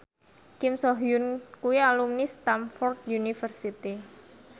Kim So Hyun kuwi alumni Stamford University